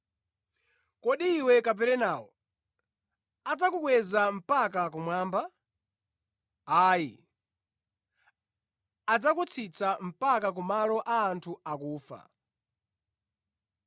Kodi iwe Kaperenawo, adzakukweza mpaka kumwamba? Ayi, adzakutsitsa mpaka ku Malo a anthu akufa.